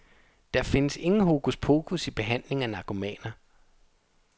Der findes ingen hokus pokus i behandling af narkomaner.